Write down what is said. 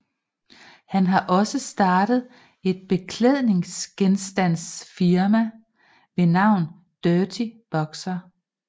Han har også startet et beklædningsgenstandsfirma ved navn Dirty Boxer